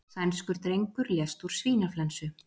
Sænskur drengur lést úr svínaflensu